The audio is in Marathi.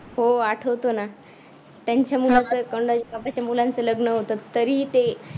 हो. आठवतो ना. त्यांच्या मुलाचं स्वतःच्या मुलांच लग्न होतं तरीही ते